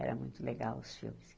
Eram muito legais os filmes.